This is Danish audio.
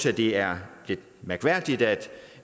at det er mærkværdigt at